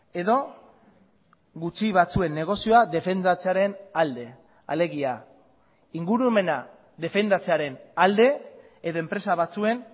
edo gutxi batzuen negozioa defendatzearen alde alegia ingurumena defendatzearen alde edo enpresa batzuen